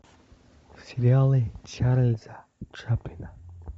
сериалы чарльза чаплина